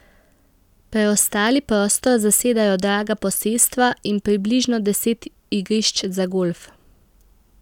Preostali prostor zasedajo draga posestva in približno deset igrišč za golf.